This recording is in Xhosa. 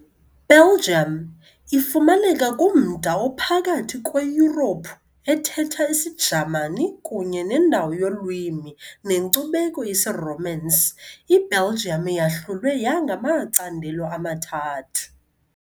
Belguim. Ifumaneka kumda ophakathi kweYurophu ethetha isiJamani kunye nendawo yolwimi nenkcubeko yesiRomance, iBelgium yahlulwe yangamacandelo amathathu.